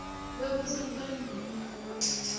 kwekutsi uphendvule umbuto